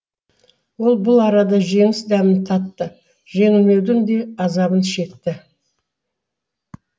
ол бұл арада жеңіс дәмін татты жеңілмеудің де азабын шекті